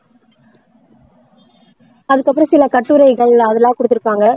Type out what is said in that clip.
அதுக்கப்பறம் சில கட்டுரைகள் அதெல்லாம் கொடுத்திருப்பாங்க